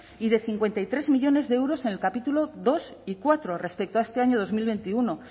y de cincuenta y tres millónes de euros en el capítulo dos y cuatro respecto a este año dos mil veintiuno